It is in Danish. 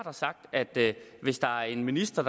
har sagt at hvis der er en minister